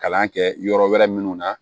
Kalan kɛ yɔrɔ wɛrɛ minnu na